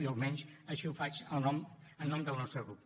jo almenys així ho faig en nom del nostre grup